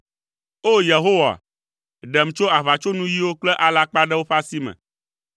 O! Yehowa, ɖem, tso aʋatsonuyiwo kple alakpaɖewo ƒe asi me.